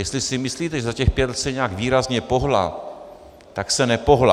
Jestli si myslíte, že za těch pět let se nějak výrazně pohnula, tak se nepohnula.